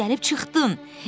Axırı ki, gəlib çıxdın!